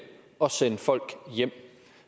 at sende folk hjem